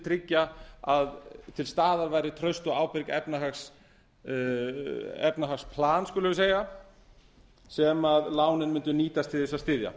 tryggja að til staðar væri traust og ákveðið efnahagsplan sem lánin mundu nýtast til að styðja